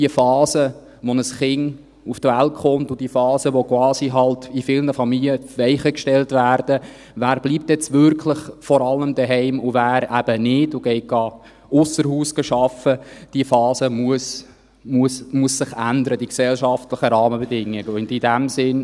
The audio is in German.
Die Phase, in der ein Kind auf die Welt kommt, die Phase, in der in vielen Familien quasi die Weichen gestellt werden, wer jetzt wirklich vor allem zu Hause bleibt und wer eben nicht, wer ausser Haus arbeiten geht: Die gesellschaftlichen Rahmenbedingungen dieser Phase müssen sich ändern.